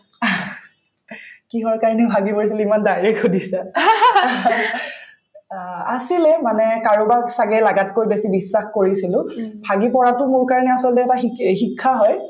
কিহৰ কাৰণে ভাঙি পৰিছিলো ইমান direct সুধিছা অ আছিলে মানে কাৰোবাক ছাগে লাগাতকৈ বেছি বিশ্বাস কৰিছিলো ভাঙি পৰাতো মোৰ কাৰণে আচলতে এটা শিক ‍অ শিক্ষা হয়